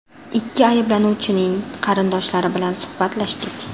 Ikki ayblanuvchining qarindoshlari bilan suhbatlashdik.